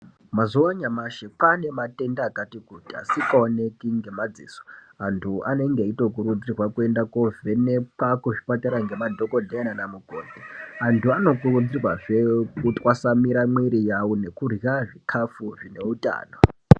Mazuwa anyamashi kwane matenda akatikuti asingaoneki ngemadziso antu anenge eitokurudzirwa kuenda kunovhenekwa kuzvipatara ngemadhokodheya nana mukoti, antu anokurudzirwazve kutasanura mwiri yawo nekurya zvikafu zvineutano.